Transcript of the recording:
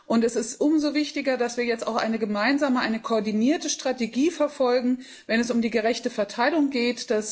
Und es ist umso wichtiger, dass wir jetzt auch eine gemeinsame, eine koordinierte Strategie verfolgen, wenn es um die gerechte Verteilung geht.